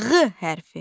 Ğ hərfi.